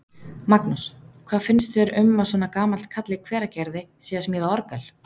Magnús: Hvað finnst þér um að svona gamall karl í Hveragerði sé að smíða orgel?